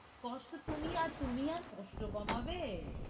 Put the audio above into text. কষ্ট, তুমি আর, তুমি আর কষ্ট কমাবে,